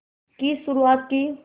की शुरुआत की